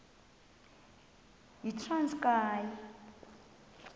yitranskayi